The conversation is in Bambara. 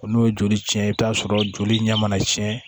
O n'o ye joli cɛn ye i bɛ t'a sɔrɔ joli ɲɛ mana cɛn